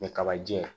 Ni kabajiy'a ye